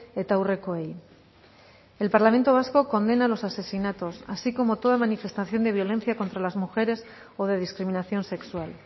eta haurrekoei el parlamento vasco condena los asesinatos así como toda manifestación de violencia contra las mujeres o de discriminación sexual